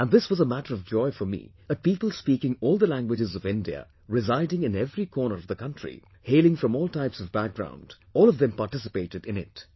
And this was a matter of joy for me that people speaking all the languages of India, residing in every corner of the country, hailing from all types of background... all of them participated in it